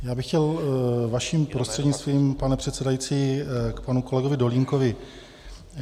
Já bych chtěl vaším prostřednictvím, pane předsedající, k panu kolegovi Dolínkovi.